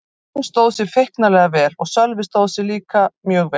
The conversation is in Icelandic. Hann stóð sig feiknarlega vel og Sölvi stóð sig mjög vel líka.